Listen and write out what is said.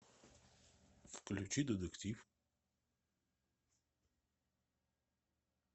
включи детектив